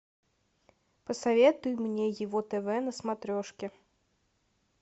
посоветуй мне его тв на смотрешке